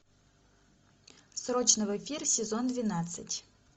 срочно в эфир сезон двенадцать